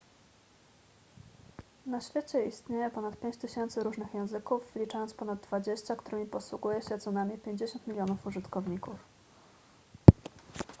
na świecie istnieje ponad 5000 różnych języków wliczając ponad dwadzieścia którymi posługuje się co najmniej 50 milionów użytkowników